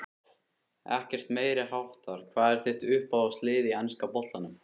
Ekkert meiriháttar Hvað er þitt uppáhaldslið í enska boltanum?